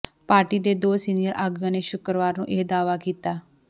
party ਦੇ ਦੋ senior ਆਗੂਆਂ ਨੇ ਸ਼ੁਕਰਵਾਰ ਨੂੰ ਇਹ ਦਾਅਵਾ ਕੀਤਾ